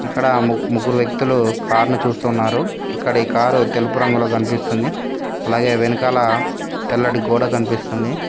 ఇక్కడ ముగ్ ముగ్గురు వ్యక్తులు కారును చూస్తున్నారు ఇక్కడ ఈ కారు తెలుపు రంగులో కనిపిస్తుంది అలాగే వెనకాల తెల్లటి గోడ కనిపిస్తుంది.